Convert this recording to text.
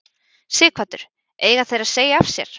Sighvatur: Eiga þeir að segja af sér?